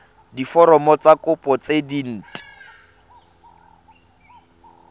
diforomo tsa kopo tse dint